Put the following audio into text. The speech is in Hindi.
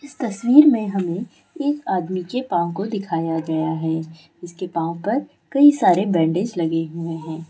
इस तस्वीर में हमे एक आदमी के पाव को दिखाया गया है इसके पाव पर कई सारे बैंडेज लगे हुए है।